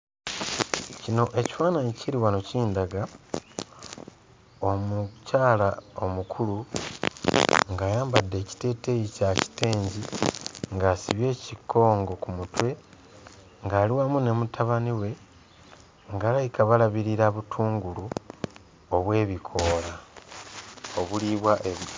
Kino ekifaananyi ekiri wano kindaga omukyala omukulu ng'ayambadde ekiteeteeyi kya kitengi ng'asibye ekikongo ku mutwe ng'ali wamu ne mutabani we ng'alabika balabirira butungulu obw'ebikoola obuliibwa...